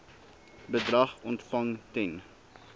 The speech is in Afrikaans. bedrag ontvang ten